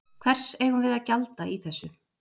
Hvers eigum við að gjalda í þessu?